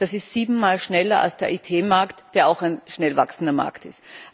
Das ist sieben Mal schneller als der IT Markt, der auch ein schnell wachsender Markt ist.